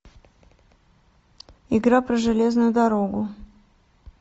игра про железную дорогу